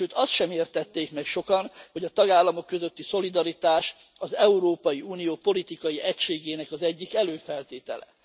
Sőt, azt sem értették meg sokan, hogy a tagállamok közötti szolidaritás az Európai Unió politikai egységének az egyik előfeltétele.